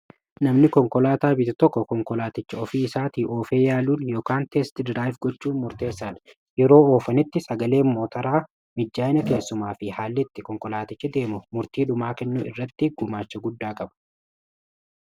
Namni konkolaataa bitu tokko konkolaaticha ofii isaati oofee yaaluun ykn gochuu murteessaa yeroo oofanitti sagalee mootaraa mijjaa'ina keessumaa fi haal'itti konkolaatichi deemu murtii dhumaa kennuu irratti gumaacha guddaa qaba.